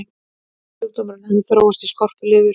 sjúkdómurinn hafði þróast í skorpulifur